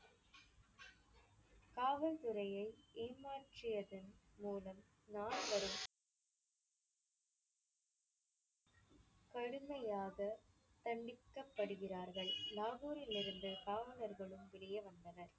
காவல்துறையை ஏமாற்றியதன் மூலம் நால்வரும் கடுமையாகத் தண்டிக்கப்படுகிறார்கள். லாகூரிலிருந்து காவலர்களும் வெளியே வந்தனர்.